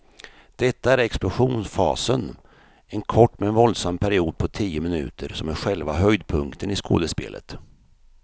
Detta är explosionsfasen, en kort men våldsam period på tio minuter som är själva höjdpunkten i skådespelet.